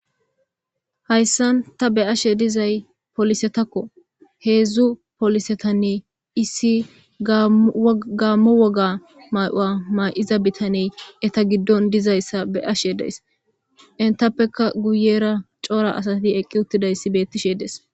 hayssan ta be'ashe dizay polisetakko heedzdzu polisetanne issi gaammo woga ma'ua ma'iza bitaney eta giddon dizayssa be'ashe days intappeka guyera coora asati eqqi uttidayssi beettishe des